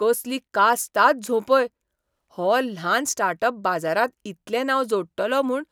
कसली कास्ताद झोंपय ! हो ल्हान स्टार्टअप बाजारांत इतलें नांव जोडटलो म्हूण